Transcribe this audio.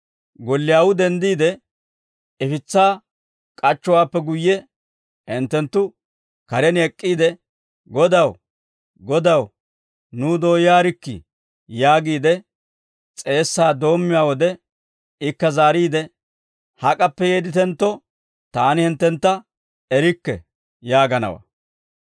Golliyaawuu denddiide, ifitsaa k'achchowaappe guyye hinttenttu karen ek'k'iide, ‹Godaw, Godaw, nuw dooyaarikkii› yaagiide s'eessaa doommiyaa wode, ikka zaariide, ‹Hak'appe yeedditentto, taani hinttentta erikke› yaaganawaa.